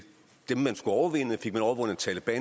dem man skulle overvinde og fik man overvundet taleban